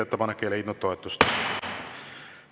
Ettepanek ei leidnud toetust.